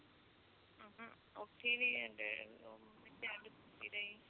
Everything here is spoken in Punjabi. ਉਠੀ ਵੀ